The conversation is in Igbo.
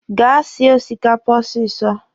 Gaa sie osikapa ọsịsọ!